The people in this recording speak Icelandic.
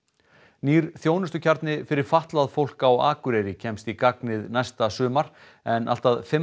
nýr þjónustukjarni fyrir fatlað fólk á Akureyri kemst í gagnið næsta sumar en allt að fimm